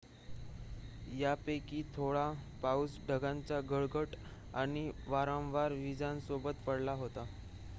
यापैकी थोडा पाऊस ढगांचा गडगडाट आणि वारंवार वीजांसोबत पडला होता